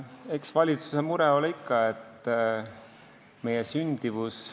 Eks valitsuse mure ole ikka sündimus.